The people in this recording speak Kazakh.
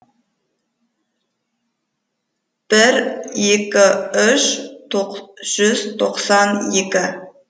бір екі үш жүз тоқсан екі